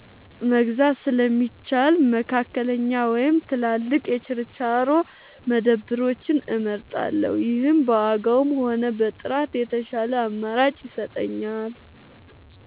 መግዛት ስለሚሻል፣ መካከለኛ ወይም ትላልቅ የችርቻሮ መደብሮችን እመርጣለሁ። ይህም በዋጋም ሆነ በጥራት የተሻለ አማራጭ ይሰጠኛል።